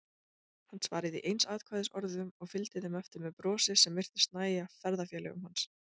Hann svaraði í einsatkvæðisorðum og fylgdi þeim eftir með brosi sem virtist nægja ferðafélögum hans.